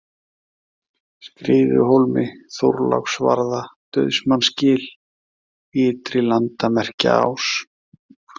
Skriðuhólmi, Þorláksvarða, Dauðsmannsgil, Ytri-Landamerkjaás